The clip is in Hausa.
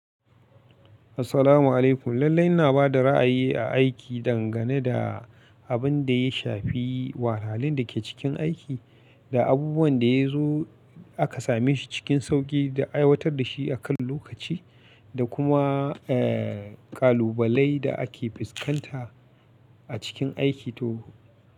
Assalamu alaikum. Lallai ina ba da ra'ayi a aiki dangane da abin da ya shafi wahalin da ke cikin aiki, ga abubuwan da ya zo aka same shi cikin sauƙi da aiwatar da shi akan lokaci, da kuma, eh, ƙalubalai da ake fuskanta a cikin aiki to.